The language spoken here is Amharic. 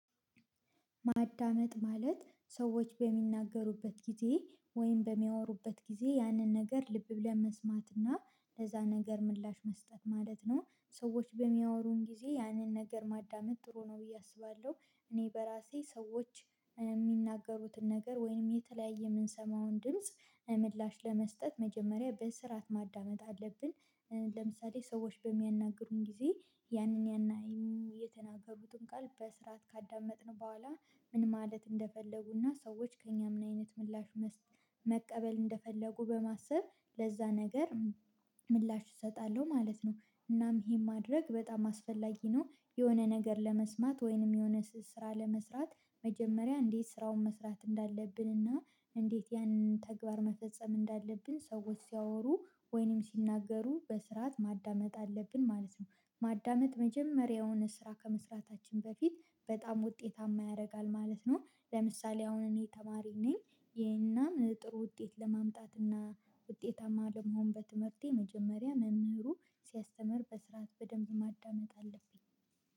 ማዳመጥ ማለት ሰዎች በሚናገሩበት ጊዜ ወይም በሚያወሩበት ጊዜ ያንን ነገር ልብ ብለን መስማትና ለዛ ነገር ምላሽ መስጠት ማለት ነው። ሰዎች በሚያወሩን ጊዜ ያንን ነገር ማዳመጥ ጥሩ ነው ብዬ አስባለሁ እኔ በራሴ ሰዎች የሚናገሩትን ነገር ወይንም የተለያየ የምንሰማውን ድምጽ ምላሽ ለመስጠት መጀመሪያ በስርዓት ማዳመጥ አለብን ለምሳሌ ሰዎች በሚያናግሩን ጊዜ ያንን ያናይም የተናገሩትን ቃል በስርዓት ካዳመጥን በኋላ ምን ማለት እንደፈለጉና ሰዎች ከእኛ ምን አይነት ምላሽ መቀበል እንደፈለጉ በማሰብ ለዛ ነገር ምላሽ እሰጣለሁ ማለት ነው እናም ይሄን ማድረግ በጣም አስፈላጊ ነው የሆነ ነገር ለመስማት ወይንም የሆነ ስራ ለመስራት መጀመሪያ እንዴት ስራውን መስራት እንዳለብን እና እንዴት ያንን ተግባር መፈጸም እንዳለብን ሰዎች ሲያወሩ ወይንም ሲናገሩ በስርዓት ማዳመጥ አለብን ማለት ነው ማዳመጥ መጀመሪያውን ስራ ከመስራታችን በፊት በጣም ውጤታማ ያደርጋል ማለት ነው። ለምሳሌ አሁን እኔ ተማሪ ነኝ ይሄን ጥሩ ውጤት ለማምጣት እና ውጤታማ ለመሆን በትምህርቴ መጀመሪያ መምህሩ ሲያስተምር በስርዓት በደንብ ማዳመጥ አለብኝ